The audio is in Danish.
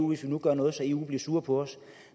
hvis vi nu gør noget så eu bliver sure på os